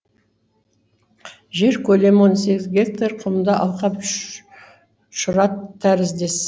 жер көлемі он сегіз гектар құмды алқап шұрат тәріздес